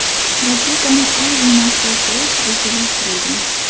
Raketani Oy va Marsga uchirish rejalashtirilgan.